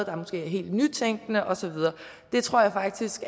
er måske helt nytænkende og så videre det tror jeg faktisk